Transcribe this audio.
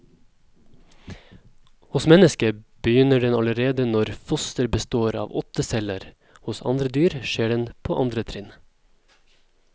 Hos mennesket begynner den allerede når fosteret består av åtte celler, hos andre dyr skjer den på andre trinn.